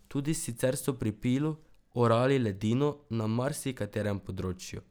Tudi sicer so pri Pilu orali ledino na marsikaterem področju.